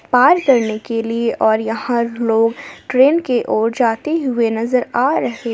पार करने के लिए और यहां लोग ट्रेन के और जाते हुए नजर आ रहे--